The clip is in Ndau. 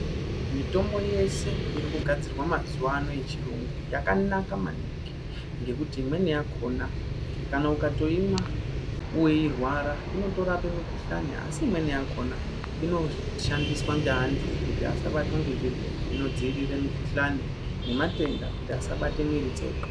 Mitombo yeshe iri kugadzirwa mazuva ano yechiyungu yakanaka maningi. Ngekuti imweni yakona kana ukatoimwa veirwara inotorape mikuhlani asi imweni yakona inofandiswa ngevantu kuti asabatwa ngezvirwere. Inodzirira mikuhlani nematenda kuti asabata mwiri dzedu.